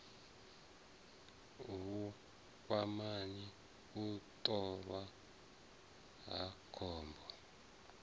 vhukwamani u ṱolwa ha khombo